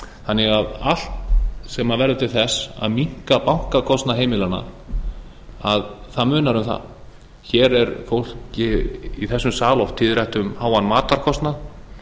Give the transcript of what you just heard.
þannig að það munar um allt sem verður til þess að minnka bankakostnað heimilanna hér er fólki í þessum sal oft tíðrætt um háan matarkostnað